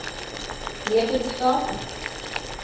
wetenskap